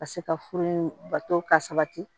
Ka se ka furu in bato ka sabati